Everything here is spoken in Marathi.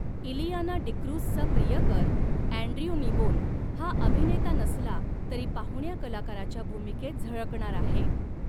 इलियाना डिक्रूझचा प्रियकर अँड्र्यू नीबोन हा अभिनेता नसला तरी पाहुण्या कलाकाराच्या भूमिकेत झळकणार आहे.